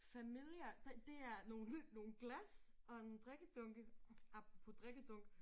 Familiar der det er nogle nogle glas og en drikkedunke apropos drikkedunk